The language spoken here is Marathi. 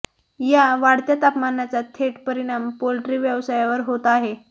या वाढत्या तापमानाचा थेट परिणाम पोल्ट्री व्यवसायावर होत आहे